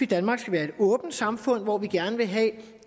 danmark skal være et åbent samfund hvor vi gerne vil have